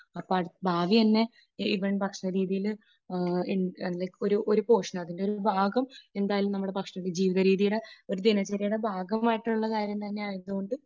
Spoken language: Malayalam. അപ്പോൾ ഭാവി തന്നെ, ഈവൻ ഭക്ഷണരീതിയിൽ അതിൻറെ ഒരു പോഷൻ ഒരു ഭാഗം എന്തായാലും നമ്മുടെ ഭക്ഷണരീതി ജീവിതരീതിയുടെ ഒരു ദിനചര്യയുടെ ഭാഗമായിട്ട് ഉള്ള കാര്യം തന്നെ ആയതുകൊണ്ട്